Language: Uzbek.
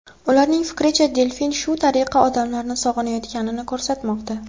Ularning fikricha, delfin shu tariqa odamlarni sog‘inayotganini ko‘rsatmoqda.